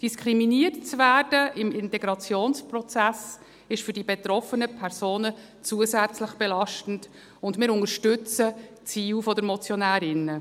Im Integrationsprozess diskriminiert zu werden, ist für die betroffenen Personen zusätzlich belastend, und wir unterstützen die Ziele der Motionärinnen.